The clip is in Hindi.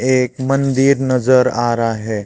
एक मंदिर नजर आ रहा है।